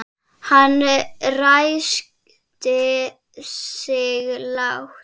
Hann ræskti sig lágt.